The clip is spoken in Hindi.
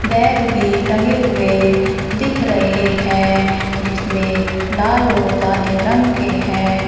बैग भी टंगे हुए दिख रहे हैं जिसमें लाल और काले रंग के हैं।